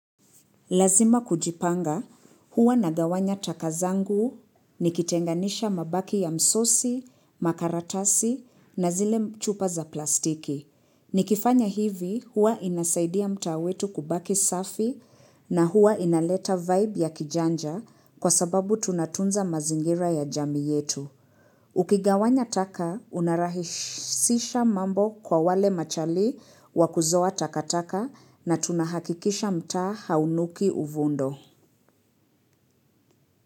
Lazima kujipanga huwa na gawanya takazangu, nikitenganisha mabaki ya msosi, makaratasi na zile mchupa za plastiki. Nikifanya hivi huwa inasaidia mtaa wetu kubaki safi na huwa inaleta vibe ya kijanja kwa sababu tunatunza mazingira ya jamii yetu. Ukigawanya taka unarahisisha mambo kwa wale machali wakuzoa takataka na tunahakikisha mtaa haunuki uvundo.